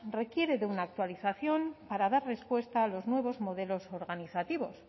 requiere de una actualización para dar respuesta a los nuevos modelos organizativos